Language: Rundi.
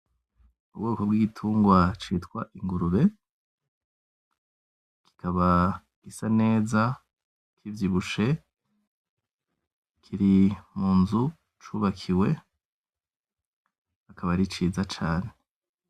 Ubwoko bw'igitungwa citwa ingurube, kikaba gisa neza, kivyibushe, kiri mu nzu cubakiwe, akaba ari ciza cane.